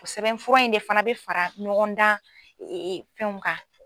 O sɛbɛn fura in de fana bɛ fara ɲɔgɔn dan fɛnw kan.